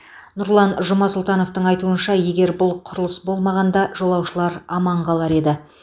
нұрлан жұмасұлтановтың айтуынша егер бұл құрылыс болмағанда жолаушылар аман қалар еді